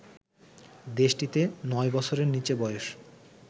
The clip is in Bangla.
দেশটিতে নয় বছরের নিচে বয়স